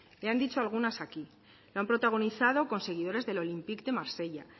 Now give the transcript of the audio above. le han dicho algunas aquí lo han protagonizado con seguidores del olympique de marsella